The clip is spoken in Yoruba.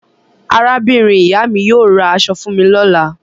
Arábìnrin-ìyá mi yóò ra aṣọ fún mi lọ́la.